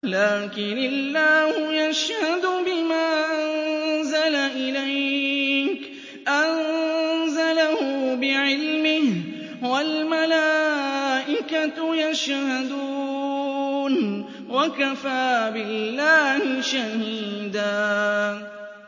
لَّٰكِنِ اللَّهُ يَشْهَدُ بِمَا أَنزَلَ إِلَيْكَ ۖ أَنزَلَهُ بِعِلْمِهِ ۖ وَالْمَلَائِكَةُ يَشْهَدُونَ ۚ وَكَفَىٰ بِاللَّهِ شَهِيدًا